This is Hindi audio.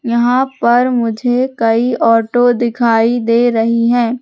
यहां पर मुझे कई ऑटो दिखाई दे रही है।